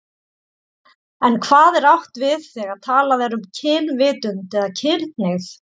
En hvað er átt við þegar talað er um kynvitund eða kynhneigð?